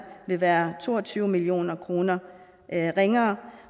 vil være to og tyve million kroner ringere